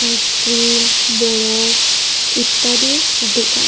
ice cream বরফ ইত্যাদির দোকান--